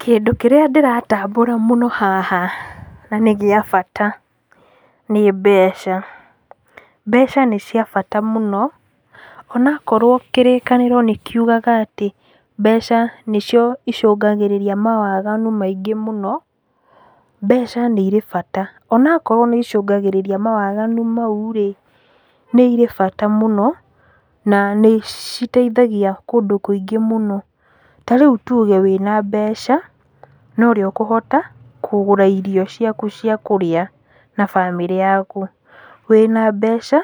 Kĩndũ kĩrĩa ndĩratambũra mũno haha, na nĩgĩa bata, nĩ mbeca, mbeca nĩ cia bata mũno, onakorwo kĩrĩkanĩro nĩkiugaga atĩ, mbeca nĩcio icũngagĩrĩria mawaganu maingĩ mũno, mbeca nĩirĩ bata, onakorwo nĩicũngagĩrĩria mawaganu mau rĩ, nĩirĩ bata mũno, na nĩi citeithagia kũndũ kũingĩ mũno, ta rĩu tuge wĩna mbeca, norĩo ũkũhota, kũgũra irio ciaku cia kũrĩa, na bamĩrĩ yaku, wĩna mbeca,